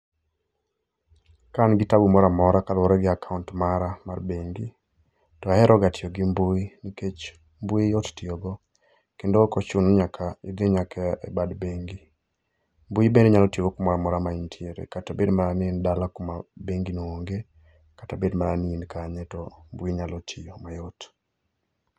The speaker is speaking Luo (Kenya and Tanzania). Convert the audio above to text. Ka an gi tabu mora mora ka luore gi akaunt mara mar bengi to ahero ga tiyo gi mbui nikech mbui yot tiyo go kendo ok ochuno ni nyaka idhi e bado bengi mbui bende inyalo ti go kamora mora ma intiere kata bed mana ni in dala kama bengi no onge kata bed ni in kanye to mbui nyalo tiyo ma yot